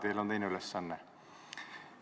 Teil on teine ülesanne.